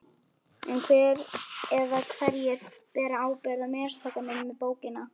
En hver eða hverjir bera ábyrgð á mistökunum með bókina?